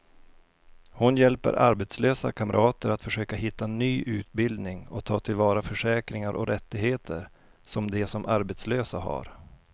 Hon hjälper arbetslösa kamrater att försöka hitta ny utbildning och ta till vara försäkringar och rättigheter som de som arbetslösa har.